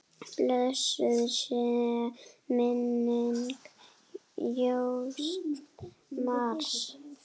Blessuð sé minning Jóns Mars.